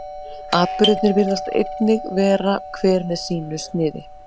atburðirnir virðist einnig vera hver með sínu sniði